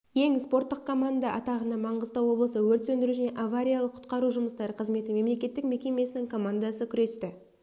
ең спорттық команда атағына маңғыстау облысы өрт сөндіру және авариялық-құтқару жұмыстары қызметі мемлекеттік мекемесінің командасы күресті